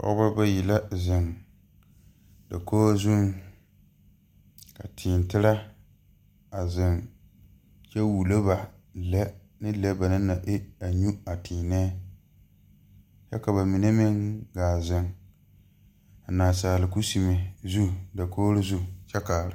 Pɔɔbɔ bayi la zeŋ dakoge zuŋ ka tēē tire a zeŋ kyɛ wullo ba lɛ ne lɔ ba naŋ na e nyu a tēēnɛɛ kyɛ ka ba mine meŋ gaa zeŋ a naasaal kusime zu dakogro zu kyɛ kaara.